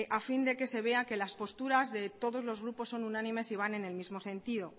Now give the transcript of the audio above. a fin de que se vea que la posturas de todos los grupos son unánimes y van en el mismo sentido